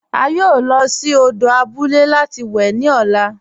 A yóò lọ sí òdò àbúlẹ̀ láti wè ni ọ̀là.